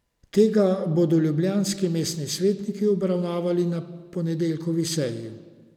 Tega bodo ljubljanski mestni svetniki obravnavali na ponedeljkovi seji.